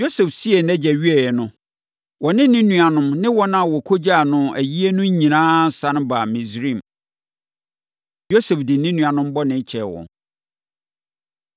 Yosef siee nʼagya wieeɛ no, ɔne ne nuanom ne wɔn a wɔkɔgyaa no ayie no nyinaa sane baa Misraim. Yosef De Ne Nuanom Bɔne Kyɛ Wɔn